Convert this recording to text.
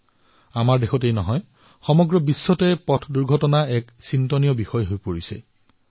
পথ দুৰ্ঘটনা আমাৰ দেশৰেই নহয় বৰঞ্চ সমগ্ৰ বিশ্বৰেই এক চিন্তাৰ বিষয় হৈ পৰিছে